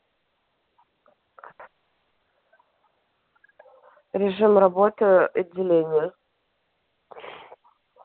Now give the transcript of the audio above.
режим работы отделения